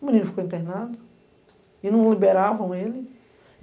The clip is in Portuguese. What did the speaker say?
O menino ficou internado e não liberavam ele.